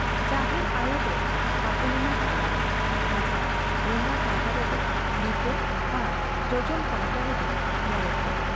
ᱡᱟᱦᱮᱨ ᱟᱭᱚ ᱫᱚ ᱛᱷᱟᱯᱚᱱ ᱮᱱᱟ ᱛᱟᱞᱟ ᱨᱮ ᱾ᱟᱡᱟᱜ ᱞᱟᱸᱜᱟ ᱯᱟᱦᱴᱟ ᱨᱮᱫᱚ ᱞᱤᱴᱟᱹ ᱟᱨ ᱡᱚᱡᱚᱢ ᱯᱟᱦᱴᱟ ᱫᱚ ᱢᱚᱬᱮ ᱠᱚ ᱾